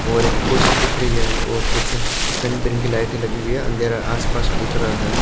और एक कुर्सी दिख रही है और कुछ अ रंग बिरंग की लाइट लगी हुई है अंधेरा आसपास दिख रहा है।